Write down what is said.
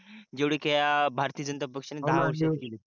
जेवढे कि या भारतीय जनता पक्षाने दहा वर्षात केली काम